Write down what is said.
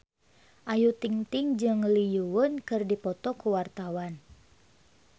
Ayu Ting-ting jeung Lee Yo Won keur dipoto ku wartawan